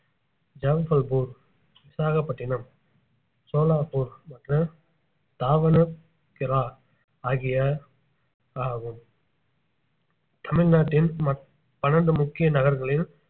ஜபல்பூர் விசாகப்பட்டினம் சோலாப்பூர் மற்றும் தாவனகெரா ஆகிய ஆகும் தமிழ்நாட்டின் மன்~ பன்னிரெண்டு முக்கிய நகரங்களில்